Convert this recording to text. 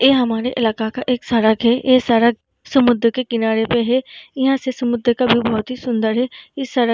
ए हमारे इलाका का एक सड़क है। ए सड़क समुद्र के किनारे पे है। यहाँ से समुन्द्र का व्यू बहुत ही सुंदर है। इस सड़क --